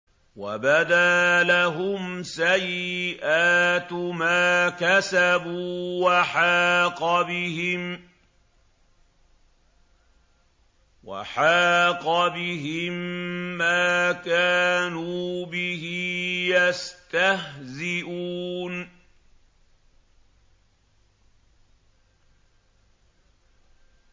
وَبَدَا لَهُمْ سَيِّئَاتُ مَا كَسَبُوا وَحَاقَ بِهِم مَّا كَانُوا بِهِ يَسْتَهْزِئُونَ